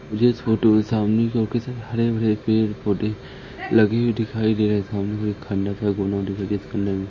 मुझे इस फोटो में सामने की ओर ऑफिस है। हरे- भरे पेड़ पोधै लगे हुए दिखाई दे रहे हैं सामने मुझे खंडर सा गोडाउन दिखाई दे रहा है इस खंडर में--